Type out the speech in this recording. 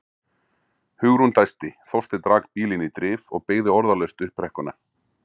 Hugrún dæsti, Þorsteinn rak bílinn í drif og beygði orðalaust upp brekkuna.